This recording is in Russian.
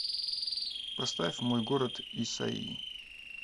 поставь мой город исайи